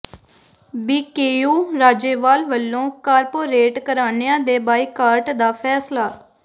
BKU Rajewal ਵੱਲੋਂ corporate ਘਰਾਣਿਆਂ ਦੇ ਬਾਈਕਾਟ ਦਾ ਫ਼ੈਸਲਾ